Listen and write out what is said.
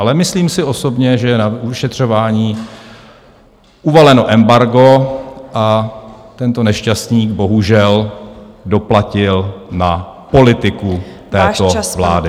Ale myslím si osobně, že je na vyšetřování uvaleno embargo a tento nešťastník bohužel doplatil na politiku této vlády.